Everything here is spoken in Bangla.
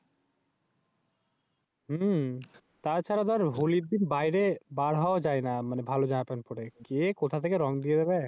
তাছাড়া দর হলির দিন বাইরে যাওয়াও যায়না ভালো জামা পেন্ট পরে। কে কোথা থেকে রং দিয়ে দেয়।